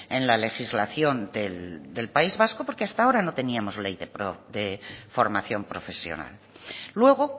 en la legislación del país vasco porque hasta ahora no teníamos ley de formación profesional luego